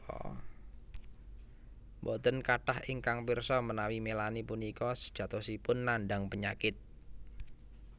Boten kathah ingkang pirsa menawi Melanie punika sejatosipun nandhang penyakit